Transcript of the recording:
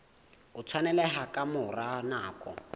o tshwaneleha ka mora nako